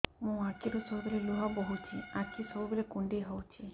ମୋର ଆଖିରୁ ସବୁବେଳେ ଲୁହ ବୋହୁଛି ଆଖି ସବୁବେଳେ କୁଣ୍ଡେଇ ହଉଚି